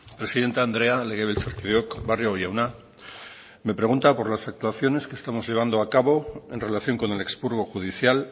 presidente andrea legebiltzarkideok barrio jauna me pregunta por las actuaciones que estamos llevando a cabo en relación con el expurgo judicial